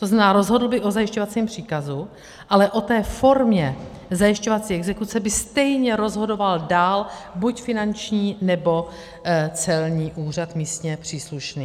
To znamená, rozhodl by o zajišťovacím příkazu, ale o té formě zajišťovací exekuce by stejně rozhodoval dál buď finanční, nebo celní úřad místně příslušný.